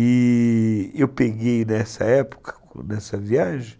E eu peguei nessa época, nessa viagem,